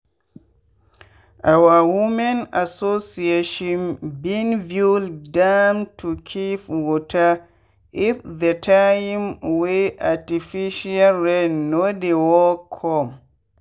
our women association been build dam to keep waterif the time wey artificial rain no dey work come.